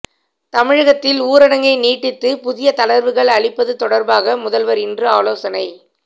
தமிழகத்தில் ஊரடங்கை நீட்டித்து புதிய தளர்வுகள் அளிப்பது தொடர்பாக முதல்வர் இன்று ஆலோசனை